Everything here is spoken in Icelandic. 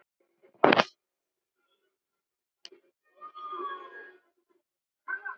Held um hana.